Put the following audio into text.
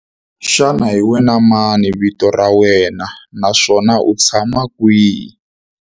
Xana hi wena mani vito ra wena naswona u tshama kwihi?